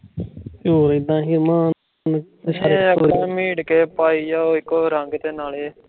ਅਪਣਾ ਮੇਡ ਕੇ ਪਾਈ ਜਾਓ ਇੱਕੋ ਰੰਗ ਤੇ ਨਾਲੇ